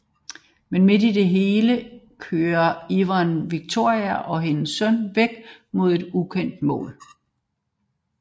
Men midt i det hele kører Iyad Victoria og hendes søn væk mod et ukendt mål